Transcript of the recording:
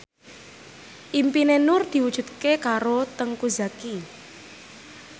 impine Nur diwujudke karo Teuku Zacky